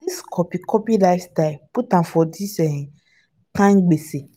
na dis copy copy lifestyle put am for dis um kind gbese.